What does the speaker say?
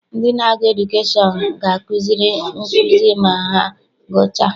Ndị na-agụ edukeshọn ga akuzi nkụzi ma ha gụchaa.